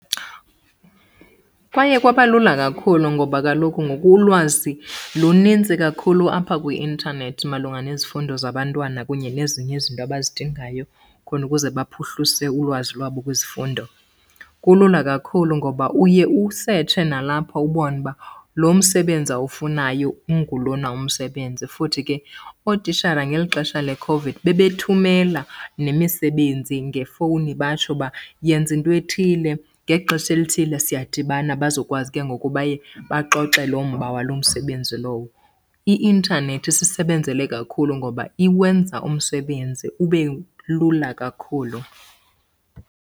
Kwaye kwaba lula kakhulu ngoba kaloku ngoku ulwazi lunintsi kakhulu apha kwi-intanethi malunga nezifundo zabantwana kunye nezinye izinto abazidingayo khona ukuze baphuhlise ulwazi lwabo kwizifundo. Kulula kakhulu ngoba uye usetshe nalapha ubone uba lo msebenzi awufunayo ungulona umsebenzi. Futhi ke ootishara ngeli xesha le COVID bebethumela nemisebenzi ngefowuni batsho uba yenza intwethile, ngexesha elithile siyadibana bazokwazi ke ngoku baye baxoxe loo mba waloo msebenzi lowo. I-intanethi isisebenzele kakhulu ngoba iwenza umsebenzi ube lula kakhulu.